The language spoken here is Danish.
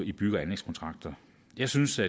i bygge og anlægskontrakter jeg synes at